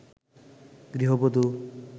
গৃহবধু